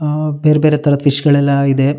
ಆಹ್ಹ್ ಬೇರೆ ಬೇರೆ ತರಹ ಫಿಶ್ ಗಳೆಲ್ಲ ಇದೆ.